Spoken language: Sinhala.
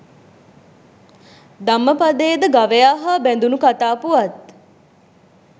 ධම්මපදයේ ද ගවයා හා බැඳුණු කතා පුවත්